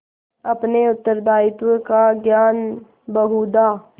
अपने उत्तरदायित्व का ज्ञान बहुधा